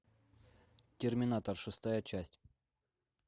терминатор шестая часть